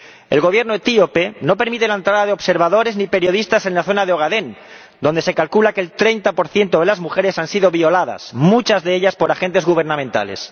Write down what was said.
El Gobierno etíope no permite la entrada de observadores ni de periodistas en la zona de Ogadén, donde se calcula que el 30 de las mujeres han sido violadas, muchas de ellas por agentes gubernamentales.